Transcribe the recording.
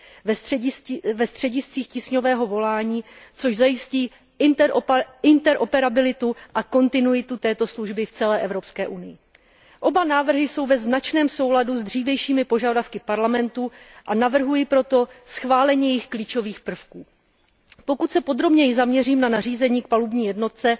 ve střediscích tísňového volání, což zajistí interoperabilitu a kontinuitu této služby v celé Evropské unii. Oba návrhy jsou ve značném souladu s dřívějšími požadavky Evropského parlamentu, a navrhuji proto schválení jejich klíčových prvků. Pokud se podrobněji zaměřím na nařízení k palubní jednotce,